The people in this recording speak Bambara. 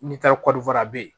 Ni taar'o fana bɛ ye